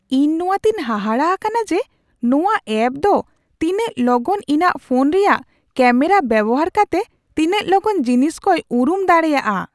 ᱤᱧ ᱱᱚᱣᱟ ᱛᱮᱧ ᱦᱟᱦᱟᱲᱟ ᱟᱠᱟᱱᱟ ᱡᱮ ᱱᱚᱶᱟ ᱮᱯ ᱫᱚ ᱛᱤᱱᱟᱹᱜ ᱞᱚᱜᱚᱱ ᱤᱧᱟᱹᱜ ᱯᱷᱳᱱ ᱨᱮᱭᱟᱜ ᱠᱮᱢᱮᱨᱟ ᱵᱮᱣᱦᱟᱨ ᱠᱟᱛᱮ ᱛᱤᱱᱟᱹᱜ ᱞᱚᱜᱚᱱ ᱡᱤᱱᱤᱥ ᱠᱚᱭ ᱩᱨᱩᱢ ᱫᱟᱲᱮᱭᱟᱜᱼᱟ ᱾